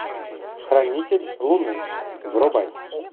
хранитель луны врубай